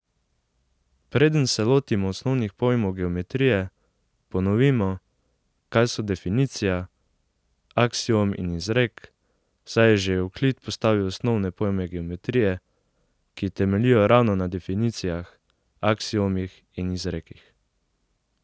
Preden se lotimo osnovnih pojmov geometrije, ponovimo, kaj so definicija, aksiom in izrek, saj je že Evklid postavil osnovne pojme geometrije, ki temeljijo ravno na definicijah, aksiomih in izrekih.